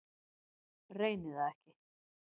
Reyni það ekki.